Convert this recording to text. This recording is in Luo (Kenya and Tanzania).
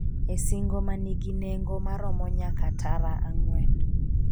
e singo manigi nengo maromo nyaka tara ang'wen